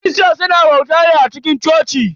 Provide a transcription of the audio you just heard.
Kirista suna bauta ne a cikin coci.